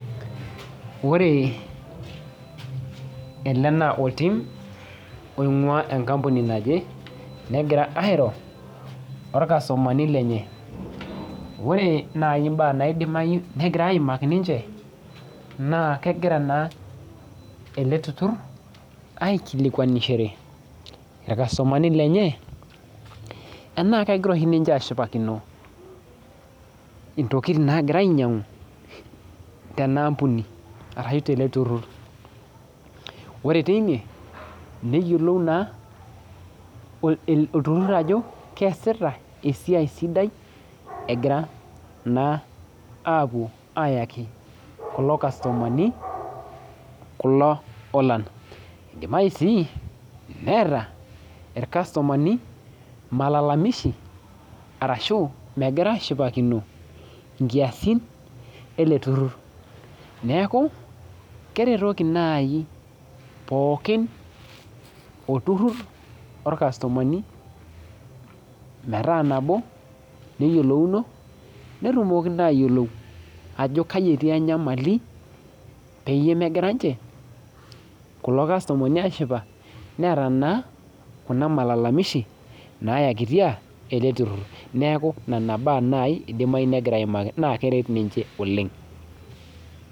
Ore elebnaoltim oingua ewoi naje neeta irkastomani lenyeore nai mbaa naidimaki negirai aimaki tine na kegira na eleturur aikilikuanishore irkastomani lenye ena kegira ninye ashulakine ntokitin nagirai ainyangu ina ampuni ashu tilo turur ore teine neyiolou ajo keasita esiai sidai egira na apuo ayaki kulo kastomani kulo olan keelo si Neeta irkastomani malalamishi arashu megira ashipakino nkiasin ele turur neaku kereroki naji pookin olturur orkastomani metaa nabo neyiolouno netumoki atadol ajo ketii enyamali negira ninche kulo kastomani ashipa neeta naa kulomalalamishi nona baa nai egira airo oleng.